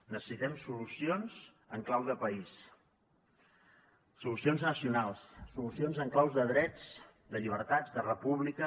necessitem solucions en clau de país solucions nacionals solucions en clau de drets de llibertats de república